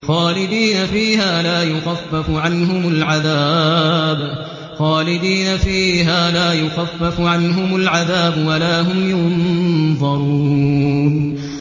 خَالِدِينَ فِيهَا ۖ لَا يُخَفَّفُ عَنْهُمُ الْعَذَابُ وَلَا هُمْ يُنظَرُونَ